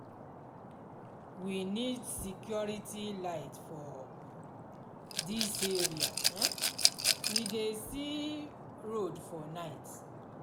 we need street light for dis area um we dey see road for night.